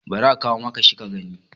bari a kawo maka shi ka gani!